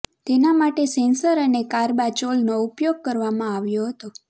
તેના માટે સેંસર અને કાર્બાચોલનો ઉપયોગ કરવામાં આવ્યો હતો